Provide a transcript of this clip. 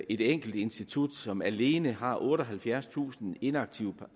et enkelt institut som alene har otteoghalvfjerdstusind inaktive